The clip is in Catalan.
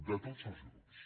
de tots els grups